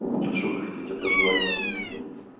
а что вы хотите пожелать таким людям